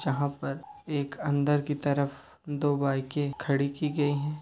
जहा पर एक अंदर की तरफ दो बाइके खड़ी की गई है।